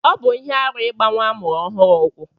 Ọbụ ihe arụ igba nwa amụrụ ohuru ụkwụ.